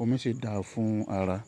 omi sì dáa fún ara.